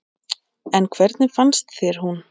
En hvernig fannst þér hún?